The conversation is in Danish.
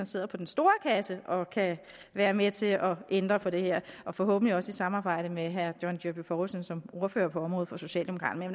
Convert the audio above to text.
sidder på den store kasse og kan være med til at ændre på det her og forhåbentlig også i samarbejde med herre john dyrby paulsen som ordfører på området for socialdemokraterne